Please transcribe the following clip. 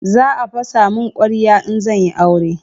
za a fasa mun kwarya in zan yi aure